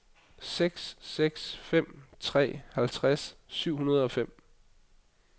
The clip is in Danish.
seks seks fem tre halvtreds syv hundrede og fem